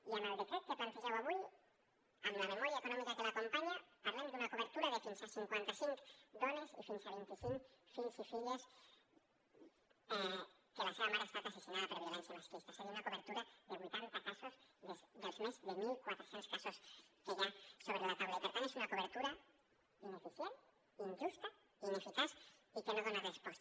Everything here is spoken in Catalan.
i amb el decret que plantegeu avui amb la memòria econòmica que l’acompanya parlem d’una cobertura de fins a cinquanta cinc dones i fins a vint i cinc fills i filles que la seva mare ha estat assassinada per violència masclista és a dir una cobertura de vuitanta casos dels més de mil quatre cents casos que hi ha sobre la taula i per tant és una cobertura ineficient injusta i ineficaç i que no hi dona resposta